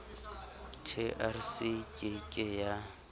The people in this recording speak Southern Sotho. trc e ke ke ya